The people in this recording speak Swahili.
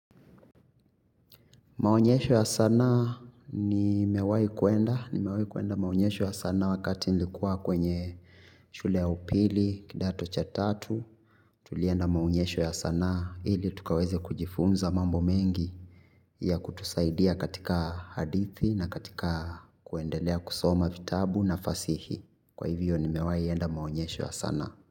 Maonyesho ya sanaa nimewahi kwenda nimewahi kwenda maonyesho ya sanaa wakati nilikuwa kwenye shule ya upili kidato cha tatu, tulienda maonyesho ya sanaa ili tukaweze kujifunza mambo mengi ya kutusaidia katika hadithi na katika kuendelea kusoma vitabu na fasihi. Kwa hivyo nimewahi enda maonyesho ya sanaa.